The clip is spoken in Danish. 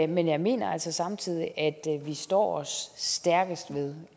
men jeg mener altså samtidig at vi står os stærkest ved